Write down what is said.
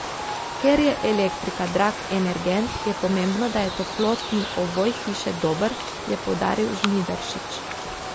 Ker je elektrika drag energent, je pomembno, da je toplotni ovoj hiše dober, je poudaril Žnidaršič.